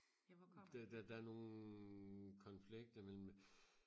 der der der er nogle konflikter mellem